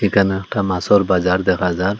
একানে একটা মাসোর বাজার দেখা যার ।